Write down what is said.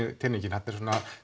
teningnum þarna eru